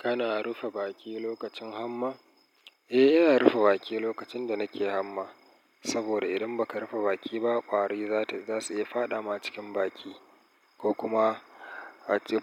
Kana rufe baki lokacin hamma? Eh, ina rufe baki lokacin da nake hamma. Saboda idan ba ka rufe baki ba, ƙwari za su iya fada ma cikin baki ko kuma